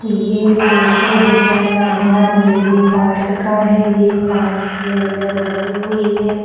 ये photo Husainabad Neembu park का है ये पार्क के अंदर बनी हुई है।